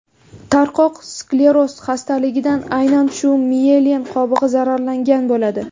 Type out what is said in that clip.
Tarqoq skleroz xastaligida aynan shu miyelin qobig‘i zararlangan bo‘ladi.